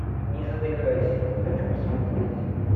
не зарекайся хочу посмотреть